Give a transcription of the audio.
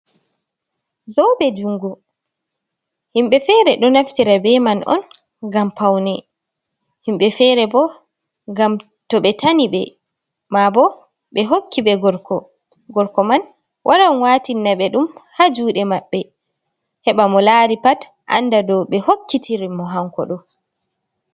Zobe jungo, himɓe fere ɗo naftira be man on ngam paune, himɓe fere bo ngam to ɓe tani ɓe, ma bo ɓe hokki ɓe gorko man waran watinaɓe ɗum ha juɗe maɓɓe heɓa mo lari pat anda do ɓe hokkitiri mo hanko ɗo.